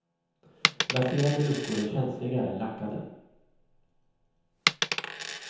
Laserade luckor är känsligare än lackade.